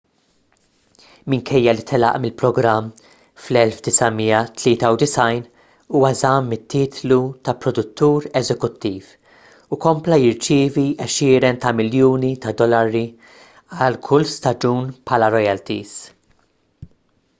minkejja li telaq mill-programm fl-1993 huwa żamm it-titlu ta' produttur eżekuttiv u kompla jirċievi għexieren ta' miljuni ta' dollari għal kull staġun bħala royalties